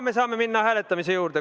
Saame minna hääletamise juurde.